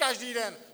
Každý den?